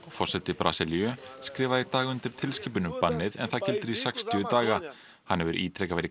forseti Brasilíu skrifaði í dag undir tilskipun um bannið en það gildir í sextíu daga hann hefur ítrekað verið